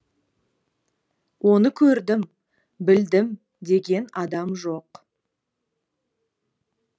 оны көрдім білдім деген адам жоқ